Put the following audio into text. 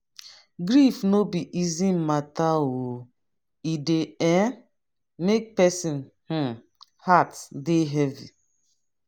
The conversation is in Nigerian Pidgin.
grief no be easy mata o e dey um make person um heart dey heavy.